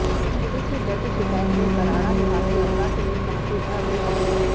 police में दर्ज शिकायत में बराड़ा निवासी अवतार सिंह ने कहा कि वह अपनी पत्नी